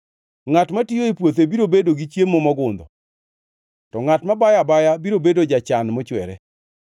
Ngʼat matiyo e puothe biro bedo gi chiemo mogundho, to ngʼat mabayo abaya biro bedo jachan mochwere.